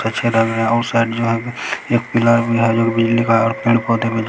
अच्छे लग रहे हैं उ साइड जो है एक पिलर भी हैं जो की बिजली का पेड़-पौधे ----